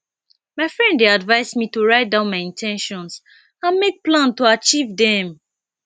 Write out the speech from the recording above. my friend dey advise me to write down my in ten tions and make plan to achieve dem